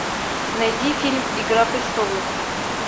найди фильм игра престолов